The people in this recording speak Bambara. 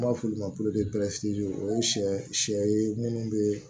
An b'a f'olu ma o ye sɛ sɛ ye munnu bee